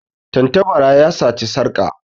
Tantabara ya sata sarƙa.